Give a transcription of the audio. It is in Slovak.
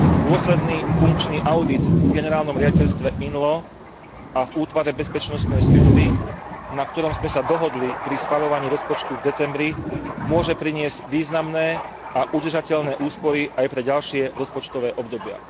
Dôsledný funkčný audit v generálnom riaditeľstve INLO a v útvare bezpečnostnej služby, na ktorom sme sa dohodli pri schvaľovaní rozpočtu v decembri, môže priniesť významné a udržateľné úspory aj pre ďalšie rozpočtové obdobia.